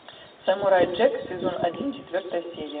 самурай джек сезон один четвертая серия